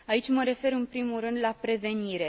Aici mă refer, în primul rând, la prevenire.